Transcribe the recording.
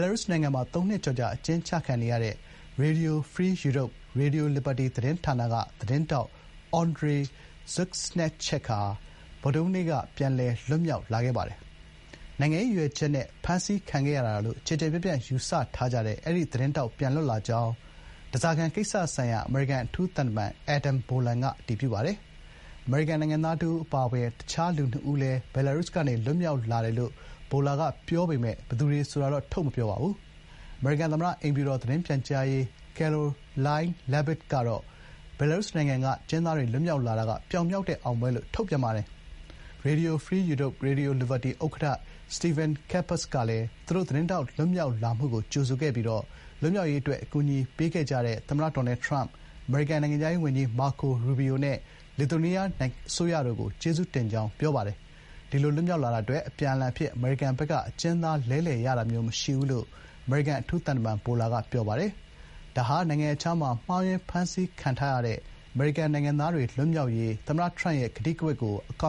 လာရုစ်နိုင်ငံမှာ သုံးနှစ်ကျော်ကြာ အကျဥ်းချခံနေရတဲ့ Radio Free Europe/Radio Liberty သတင်းဌာနက သတင်းထောက် Andrey Kuznechyk ဟာ ဗုဒ္ဓဟူးနေ့က ပြန်လည်လွတ်မြောက်လာခဲ့ပါတယ်။ နိုင်ငံရေးရည်ရွယ်ချက်နဲ့ ဖမ်းဆီးခံခဲ့ရတာလို့ ကျယ်ကျယ်ပြန့်ပြန့် ယူဆထားကြတဲ့ အဲဒီ သတင်းထောက် ပြန်လွတ်လာကြောင်း ဓားစာခံကိစ္စဆိုင်ရာ အမေရိကန် အထူးသံတမန် Adam Boehler က အတည်ပြုပါတယ်။ အမေရိကန် နိုင်ငံသားတဦးအပါအဝင် အခြားလူနှစ်ဦးလည်း ဘီလာရုစ်ကနေ လွတ်မြောက်လာတယ်လို့ Boehler က ပြောပေမယ့် ဘယ်သူတွေဆိုတာတော့ ထုတ်မပြောပါဘူး။ အမေရိကန်သမ္မတအိမ်ဖြူတော် သတင်းပြန်ကြားရေး Karoline Leavitt ကတော့ ဘီလာရုစ်နိုင်ငံကနေ အကျဉ်းသားတွေ လွတ်မြောက်လာတာက “ပြောင်မြောက်တဲ့ အောင်ပွဲ” လို့ ထုတ်ပြန်ပါတယ်။ RFE/RL ဥက္ကဋ္ဌ Stephen Capus ကလည်း Kuznechyk လွတ်မြောက်လာမှုကို ကြိုဆိုခဲ့ပြီး လွတ်မြောက်ရေးအတွက် အကူအညီပေးခဲ့ကြတဲ့ သမ္မတ ဒေါ်နယ်ထရမ့်၊ အမေရိကန် နိုင်ငံခြားရေးဝန်ကြီး မာကိုရူဘီယို နဲ့ လစ်သူယေးနီးယား အစိုးရတို့ကို ကျေးဇူးတင်ကြောင်းပြောပါတယ်။ ဒီလို လွတ်မြောက်လာတာအတွက် အပြန်အလှန်အဖြစ် အမေရိကန်ဘက်က အကျဉ်းသား လဲလှယ်ရတာမျိုးမရှိဘူးလို့ အမေရိကန်အထူးသံတမန် Boehler က ပြောပါတယ်။ဒါဟာ နိုင်ငံရပ်ခြားမှာ မှားယွင်းဖမ်းဆီးခံထားရတဲ့ အမေရိကန်နိုင်ငံသားတွေလွတ်မြောက်ရေး သမ္မတထရမ့်ရဲ့ ကတိကဝတ်ကို အကေ